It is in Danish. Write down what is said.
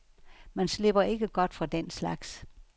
Man slipper ikke godt fra den slags.